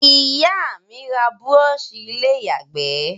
Ìyá mí n ra brush ilé ìyàgbé